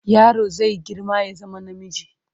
Yaro zai girma ya zama namiji.